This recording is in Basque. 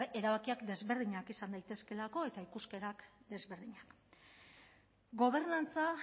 erabakiak desberdinak izan daitezkeelako eta ikuskerak desberdinak gobernantza